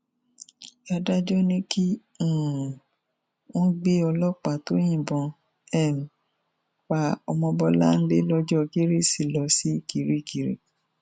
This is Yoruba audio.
adájọ ní kí um wọn gbé ọlọpàá tó yìnbọn um pa ọmọbọnlé lọjọ kérésì lọ sí kirikiri